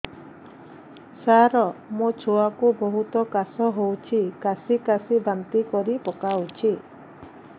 ସାର ମୋ ଛୁଆ କୁ ବହୁତ କାଶ ହଉଛି କାସି କାସି ବାନ୍ତି କରି ପକାଉଛି